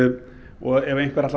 og ef einhver ætlar